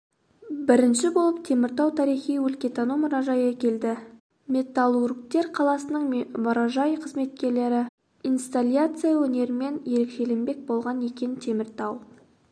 бірінші болып теміртау тарихи-өлкетану мұражайы келді металлургтер қаласының мұражай қызметкерлері инсталляция өнерімен ерекшеленбек болған екен теміртау